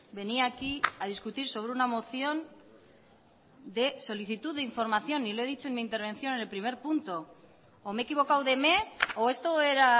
venía aquí a discutir sobre una moción de solicitud de información y lo he dicho en mi intervención en el primer punto o me he equivocado de mes o esto era